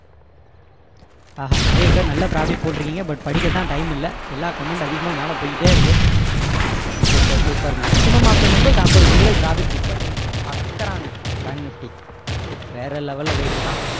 ஆஹா நிறைய பேரு நல்லா profit போட்டுருக்கீங்க but படிக்க தான் time இல்ல எல்லாம் comment அதிகமா மேல போய்கிட்டே இருக்கு super super maximum of the members ஐம்பது புள்ளிகள் profit book பண்ணிருக்கீங்க பறக்கறாங்க bank nifty வேற level ல போயிட்டுருக்கான்